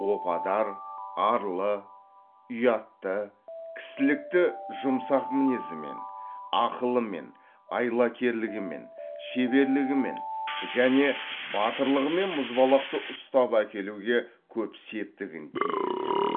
опадар арлы ұятты кісілікті жұмсақ мінезімен ақылымен айлакерлігімен шеберлігімен және батырлығымен мұзбалақты ұстап әкелуге көп септігін тигізеді